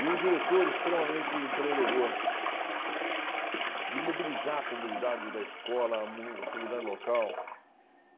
E um diretor extremamente empreendedor, de mobilizar a comunidade da escola, a comunidade local.